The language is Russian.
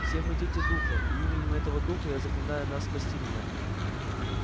все мы дети духа и именем этого духа я заклинаю нас спасти меня